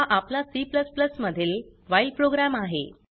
हा आपला C मधील व्हाईल प्रोग्राम आहे